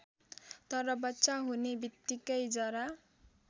तर बच्चा हुने बित्तिकै जरा